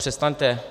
Přestaňte!